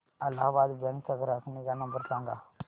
Allahabad bank चा ग्राहक निगा नंबर सांगा